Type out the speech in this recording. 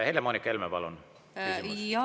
Helle-Moonika Helme, palun küsimus!